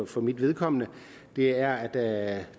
for mit vedkommende det er at